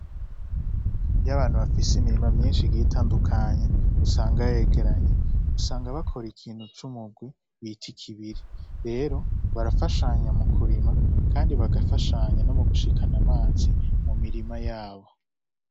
Iyo abantu bafise imirima myinshi igiye itandukanye, usanga yegeranye, usanga bakora ikintu c'umugwi bita ikibiri. Rero, barafashanya mu kurima kandi bagafashanya no mu gushikana amazi mu mirima yabo.